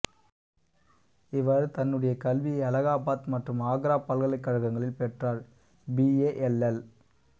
இவர் தன்னுடைய கல்வியை அலகாபாத் மற்றும் ஆக்ரா பல்கலைக்கழகங்களில் பெற்றார் பி ஏ எல்எல்